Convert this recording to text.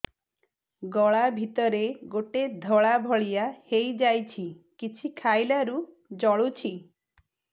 ଗଳା ଭିତରେ ଗୋଟେ ଧଳା ଭଳିଆ ହେଇ ଯାଇଛି କିଛି ଖାଇଲାରୁ ଜଳୁଛି